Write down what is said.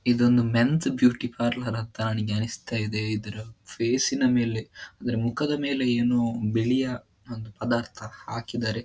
ಇದೊಂದು men's beauty parlour ಅಂತ ನನಿಗೆ ಅನ್ನಿಸ್ತಿದೆ ಇದರ ಫೇಸಿನ ಮೇಲೆ ಅಂದರೆ ಮುಖದ ಮೇಲೆ ಏನೋ ಬಿಳಿಯ ಒಂದು ಪದಾರ್ಥ ಹಾಕಿದ್ದಾರೆ.